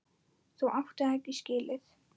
Þú áttir það ekki skilið.